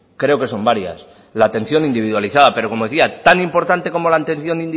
creo que son varias la atención individualizada pero como le decía tan importante como la atención